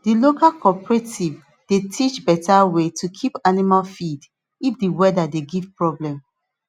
the local cooperative dey teach better way to keep animal feed if the weather dey give problem